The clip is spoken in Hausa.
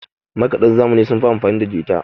makadan zamani sun fi amfanida jita